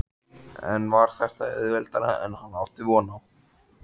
En var þetta auðveldara en hann átti von á?